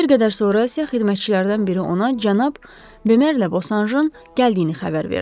Bir qədər sonra isə xidmətçilərdən biri ona cənab Bemerlə Bosanşın gəldiyini xəbər verdi.